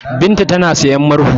Binta tana sayan murhu.